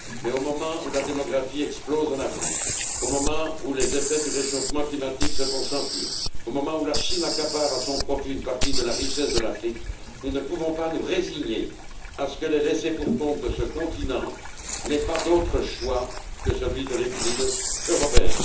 Mais, au moment où la démographie explose en Afrique, au moment où les effets du réchauffement climatique se font sentir, au moment où la Chine accapare à son profit une partie de la richesse de l'Afrique, nous ne pouvons pas nous résigner à ce que les laissés pour compte de ce continent n'aient pas d'autre choix que celui de l'exil européen.